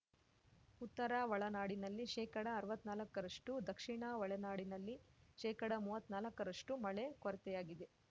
ಉತ್ತರ ಒಳನಾಡಿನಲ್ಲಿ ಶೇಕಡಅರ್ವತ್ನಾಕರಷ್ಟು ದಕ್ಷಿಣ ಒಳನಾಡಿನಲ್ಲಿ ಶೇಕಡಮುವ್ವತ್ನಾಲ್ಕರಷ್ಟುಮಳೆ ಕೊರತೆಯಾಗಿದೆ